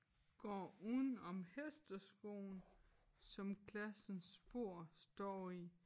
Går udenom hesteskoen som klassens borde står i